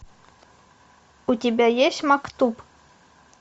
у тебя есть мактуб